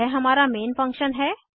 यह हमारा main function है